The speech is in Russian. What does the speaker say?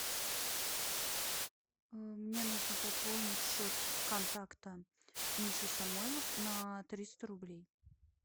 мне нужно пополнить счет контакта миша самойлов на триста рублей